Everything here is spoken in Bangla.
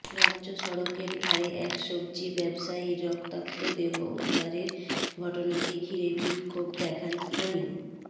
রাজ্য সড়কের ধারে এক সব্জি ব্যবসায়ীর রক্তাক্ত দেহ উদ্ধারের ঘটনাকে ঘিরে বিক্ষোভ দেখান স্থানীয়